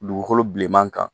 Dugukolo bilenman kan